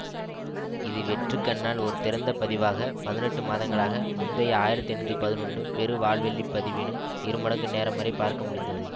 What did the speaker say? இது வெற்றுக்கண்ணால் ஒரு திறந்த பதிவாக பதினெட்டு மாதங்களாக முந்தைய ஆயிரத்தி எண்ணூற்றி பதினொன்னு பெரு வால்வெள்ளிப் பதிவினும் இருமடங்கு நேரம்வரை பார்க்கமுடிந்தது